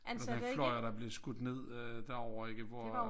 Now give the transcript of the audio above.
Men den flyver der er blevet skudt ned øh derovre ikke hvor